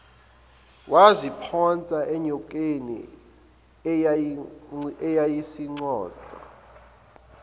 waziphonsa enyokeni eyayisiconsa